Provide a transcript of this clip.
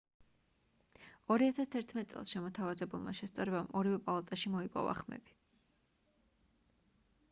2011 წელს შემოთავაზებულმა შესწორებამ ორივე პალატაში მოიპოვა ხმები